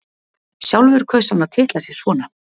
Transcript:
Sjálfur kaus hann að titla sig svona: